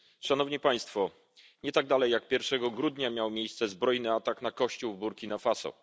Nie dalej jak pierwszego grudnia miał miejsce zbrojny atak na kościół w Burkina Faso.